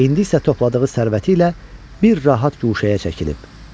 İndi isə topladığı sərvəti ilə bir rahat guşəyə çəkilib.